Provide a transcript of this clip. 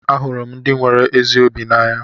Ahụrụ m ndị nwere ezi obi n'anya.